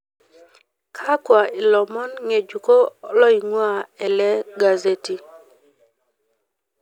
kakwa ilomon ng'ejuko loing'ua ele gazeti